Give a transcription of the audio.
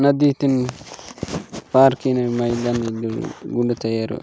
नदी तीम पार किनेन मैं गुन तेरोर --